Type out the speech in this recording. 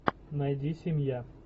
найди семья